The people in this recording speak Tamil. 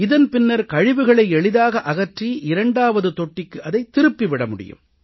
இதன் பின்னர் கழிவுகளை எளிதாக அகற்றி இரண்டாவது தொட்டிக்கு அதைத் திருப்பி விட முடியும்